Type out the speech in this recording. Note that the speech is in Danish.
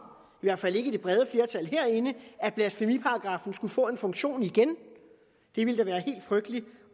i hvert fald ikke i det brede flertal herinde at blasfemiparagraffen skulle få en funktion igen det ville da være helt frygteligt